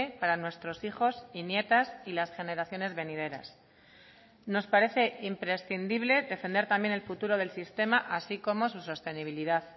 para nuestros hijos y nietas y las generaciones venideras nos parece imprescindible defender también el futuro del sistema así como sus sostenibilidad